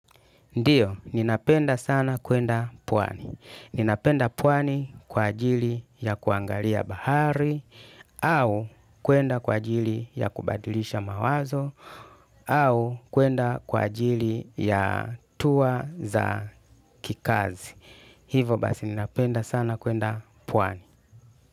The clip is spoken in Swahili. Ndiyo, ninapenda sana kuenda pwani. Ninapenda pwani kwa ajili ya kuangalia bahari, au kuenda kwa ajili ya kubadilisha mawazo, au kuenda kwa ajili ya tour za kikazi. Hivo basi ninapenda sana kuenda pwani.